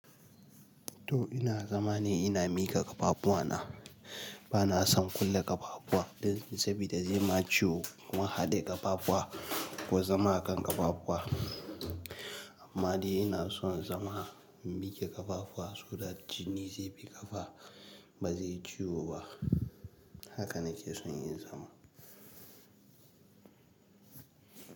To, ina zama ne, ina mika ƙafafuwa na. Bana son kulle ƙafafuwa, saboda zai min ciwo, kuma haɗe ƙafafuwa ko zama a kan ƙafafuwa. Amma dai ina son zama, in mike ƙafafuwa, saboda jini zai bi ƙafa, ba zaiyi ciwo ba. Haka na ke son yin zama.